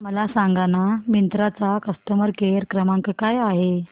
मला सांगाना मिंत्रा चा कस्टमर केअर क्रमांक काय आहे